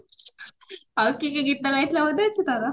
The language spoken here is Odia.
ଆଉ କି କି ଗୀତା ଗାଇଥିଲା ମନେ ଅଛି ତୋର